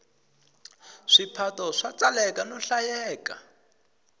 swiphato swa tsaleka no hlayeka